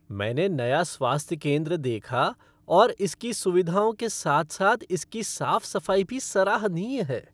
मैंने नया स्वास्थ्य केंद्र देखा और इसकी सुविधाओं के साथ साथ इसकी साफ़ सफ़ाई भी सराहनीय है।